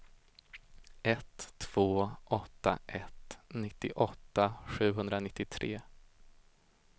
ett två åtta ett nittioåtta sjuhundranittiotre